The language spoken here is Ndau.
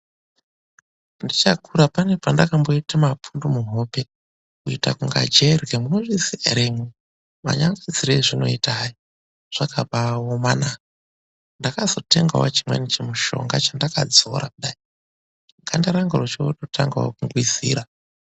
Ndichakura pane pendakamboita mapundu muhope kuita kunga jerye munozviziya ere imwimwi manyangadzire azvinoita hayi zvakabaomana, ndakazotengawo chimweni chimushonga chendakadzora kudai ganda rangu rochotangawo kungwizira.